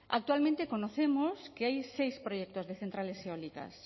actualmente conocemos que hay seis proyectos de centrales eólicas